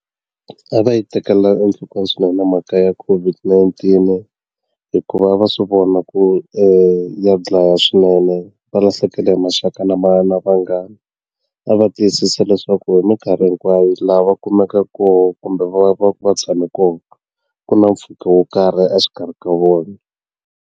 A va yi tekela enhlokweni swinenemhaka ya COVID-19 hikuva va swi vona ku ya dlaya swinene va lahlekele hi maxaka na va na vanghana a va va tiyisisa leswaku hi minkarhi hinkwayo lava kumekaka kona kumbe va va tshame kona ku na mpfhuka wo karhi exikarhi ka vona.